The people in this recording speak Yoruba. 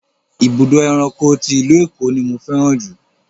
Ibùdó ẹranko ti ìlú Èkó ni mo fẹ́ràn jù.